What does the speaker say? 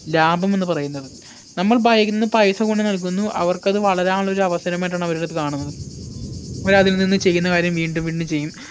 ലാഭം എന്ന് പറയുന്നത് നമ്മൾ ഭയന്ന് പൈസ കൊണ്ട് നൽകുന്നു അവർക്കത് വളരാനുള്ള ഒരു അവസരമായിട്ടാണ് അവർ അത് കാണുന്നത് അവരതിൽ നിന്ന് ചെയ്യുന്ന കാര്യം വീണ്ടും വീണ്ടും ചെയ്യും